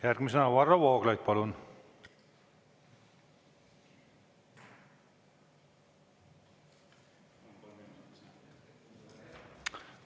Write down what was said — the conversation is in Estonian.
Järgmisena Varro Vooglaid, palun!